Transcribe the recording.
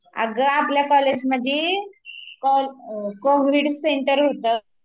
अगं आपल्या कॉलेजमध्ये कोविड सेंटर होत